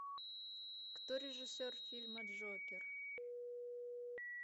кто режиссер фильма джокер